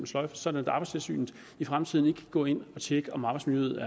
sløjfes sådan at arbejdstilsynet i fremtiden ikke kan gå ind og tjekke om arbejdsmiljøet